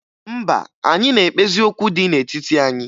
Mba, anyị na-ekpezi okwu dị n'etiti anyị.